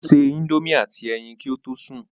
Ó se indomie àti ẹyin kí ó tó sùn